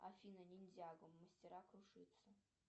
афина ниндзяго мастера кружитцу